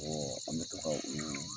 An bɛ to ka u